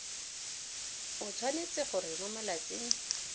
o tshwanetse gore mo malatsing